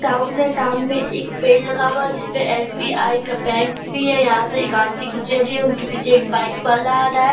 में एक पेड़ लगा हुआ है जिसमें एस.बी.आई का बैंक भी है। यहाँ से एक आंटी गुजर रही हैं उनके पीछे एक बाइक वाला आ रहा है।